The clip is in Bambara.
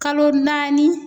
Kalo naani.